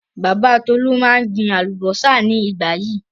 Bàbá Tolú máa ń gbin àlùbọ́sà ní ìgbà yìí.